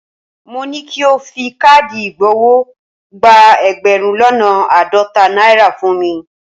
Mo ní ki o fi káàdì ìgbowó gba ẹgbẹ̀rún lọ́nà àádọ́ta náírà fún mi.